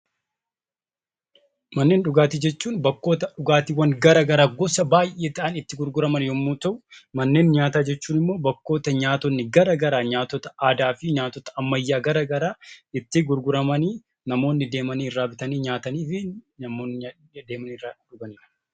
Manneen dhugaatii jechuun bakkoota dhugaatiiwwan gara garaa gosa baay'ee ta'an itti gurguraman yommuu ta'u, manneen nyaataa jechuun immoo bakkoota nyaatonni gara garaa nyaatota aadaa fi nyaatota ammayyaa gara garaa itti gurguramanii, namoonni deemanii irraa bitanii nyaatanii fi namoonni deemanii irraa dhuganidha.